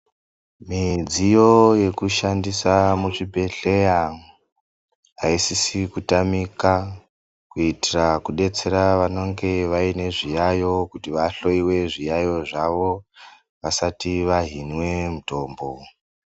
Midziyo yekushandisa muzvibhedhlera aisizi kutamika kuitira kudetsera vanenge vane zviyayiyo kuti vahloiwe zviyaiyo zvavo vasati vahinwe mitombo.